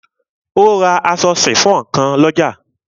O ra aṣọ sifon kan lọ́jà.